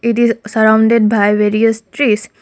it is surrounded by various trees.